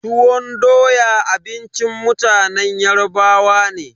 Tuwon doya abincin mutanen Yarbawa ne.